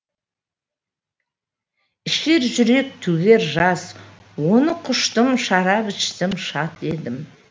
ішер жүрек төгер жас оны құштым шарап іштім шат едім